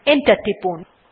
enter টিপুন